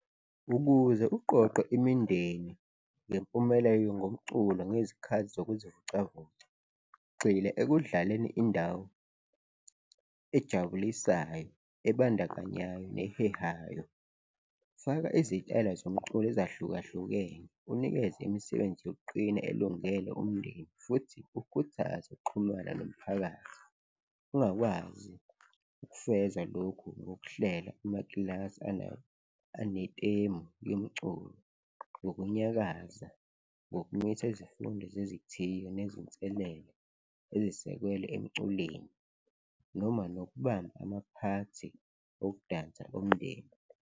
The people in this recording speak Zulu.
Ukuze juqoqwe imindeni ngempumelelo ngomculo ngezikhathi zokuzivocavoca, gxila ekudlaleni indawo ejabulisayo, ebandakanyayo nehehayo, faka izitayela zomculo ezahlukahlukene, unikeze imisebenzi yokuqina elungele umndeni futhi ukhuthaze ukuxhumana nomphakathi, ungakwazi ukufeza lokhu ngokuhlela amakilasi anetemu yomculo ngokunyakaza, ngokumisa izifundo zezithiyo nezinselelo ezisekelwe emculweni noma nokubamba amaphathi ukudansa umndeni.